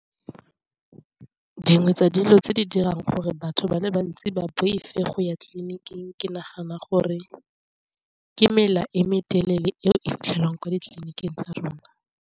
Dingwe tsa dilo tse di dirang gore batho ba le bantsi ba boife go ya tleliniking ke nagana gore ke mela e me telele eo e fitlhelwang kwa ditleliniking tsa rona.